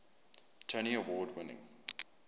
tony award winning